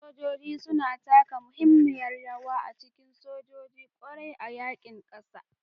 Sojoji suna taka muhimmiyar rawa a cikin soja, ƙware a yaƙin ƙasa.